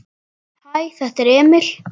Hæ, þetta er Emil.